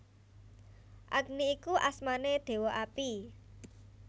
Agni iku asmané Déwa Api